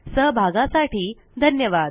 सहभागासाठी धन्यवाद